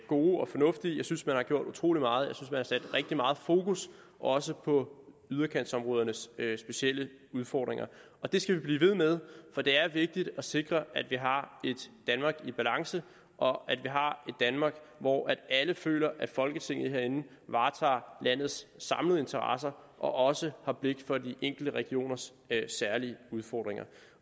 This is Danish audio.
gode og fornuftige jeg synes at man har gjort utrolig meget og sat rigtig meget fokus også på udkantsområdernes specielle udfordringer det skal vi blive ved med for det er vigtigt at sikre at vi har et danmark i balance og at vi har et danmark hvor alle føler at folketinget herinde varetager landets samlede interesser og også har blik for de enkelte regioners særlige udfordringer